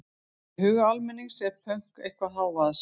í huga almennings er pönk eitthvað hávaðasamt